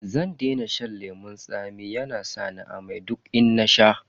Zan daina shan lemun tsami saboda yana sa ni amai duk in nasha.